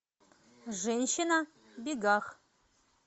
женщина в бегах